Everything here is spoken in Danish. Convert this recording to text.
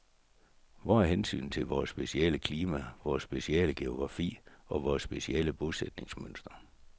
Hvor er hensynet til vores specielle klima, vores specielle geografi og vores specielle bosætningsmønster.